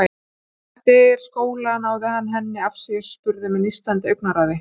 Eftir skóla náði hann henni afsíðis og spurði með nístandi augnaráði